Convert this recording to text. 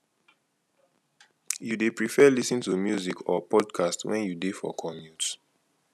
you dey prefer lis ten to music or podcast when you dey for commute